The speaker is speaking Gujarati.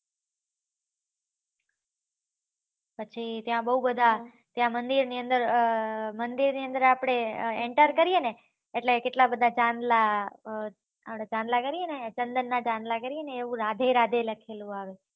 પછી ત્યાં બોવ બધા ત્યાં મંદિર ની અંદર અર મંદિર ની અંદર આપળે એન્ટર કરીએ ને એટલે કેટલા બધા ચાંદલા આપળે ચાંદલા કરીએ ને ચન્દન ના ચાંદલા કરીએ ને એવું રાધે રાધે લખેલું આવે